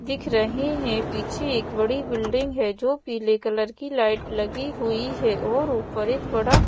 दिख रहे हैं पीछे एक बड़ी बिल्डिंग है जो पीले कलर की लाइट लगी हुई है और ऊपर एक बड़ा--